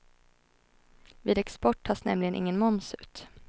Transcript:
Vid export tas nämligen ingen moms ut.